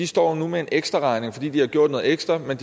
står med en ekstraregning fordi de har gjort noget ekstra men